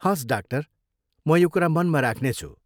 हवस्, डाक्टर! म यो कुरा मनमा राख्नेछु।